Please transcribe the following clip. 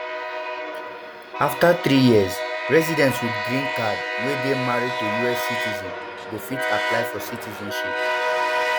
afta three years residents wit green cards wey dey married to us citizens go um fit apply for citizenship